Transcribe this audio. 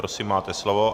Prosím, máte slovo.